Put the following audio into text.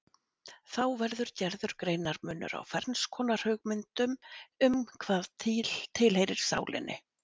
Þá verður gerður greinarmunur á ferns konar hugmyndum um hvað tilheyrir sálinni.